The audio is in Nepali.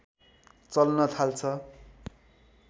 चल्न थाल्छ